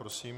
Prosím.